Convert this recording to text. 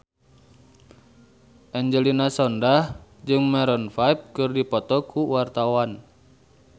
Angelina Sondakh jeung Maroon 5 keur dipoto ku wartawan